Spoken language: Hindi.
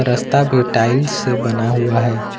रस्ता भी टाइल्स से बना हुआ है।